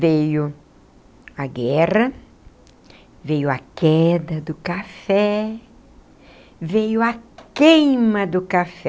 Veio a guerra, veio a queda do café, veio a queima do café.